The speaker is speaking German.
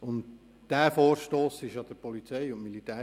Und dieser Vorstoss wurde der POM zugeteilt.